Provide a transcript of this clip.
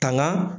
Tanga